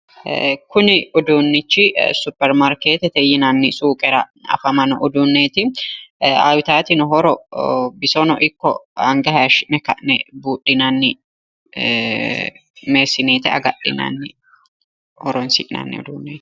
Kuni uduunnichi supperimaarkeettete yinanni suuqera afaamanno uduunneeti. Uyitaatino horo bisono ikko anga hayishshi'ne ka'ne buudhinanni meessineete agadhinanni horoonsi'nanni uduunneeti.